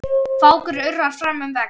Fákur urrar fram um veg.